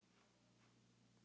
En ekki fyrr.